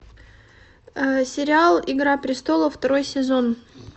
сериал игра престолов второй сезон